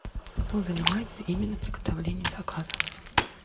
кто занимается именно приготовлением заказов